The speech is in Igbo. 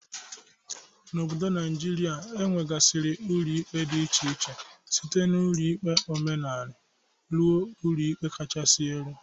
N'obodo Naijiria, enwegasiri ụlọ ikpe dị iche iche site n'ụlọ ikpe omenala rue ụlọ ikpe kachasi elu.